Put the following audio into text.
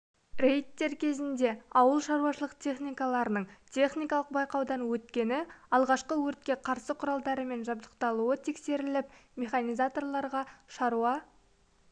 рейдтер кезінде ауыл шаруашылық техникаларының техникалық байқаудан өткені алғашқы өртке қарсы құралдарымен жабдықталуы тексеріліп механизаторларға шаруа